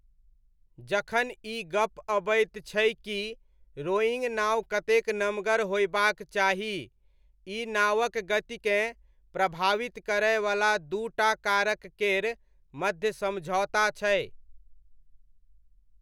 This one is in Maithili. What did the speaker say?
जखन ई गप अबैत छै कि रोइङ्ग नाव कतेक नमगर होयबाक चाही, ई नावक गतिकेँ प्रभावित करयवला दू टा कारक केर मध्य समझौता छै।